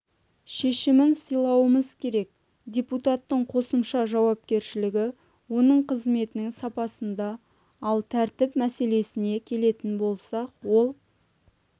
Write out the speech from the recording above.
шешімін сыйлауымыз керек депутаттың қосымша жауапкершілігі оның қызметінің сапасында ал тәртіп мәселесіне келетін болсақ ол